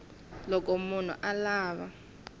loko munhu a lava ku